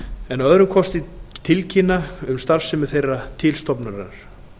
en tilkynni að öðrum kosti um starfsemi þeirra til stofnunarinnar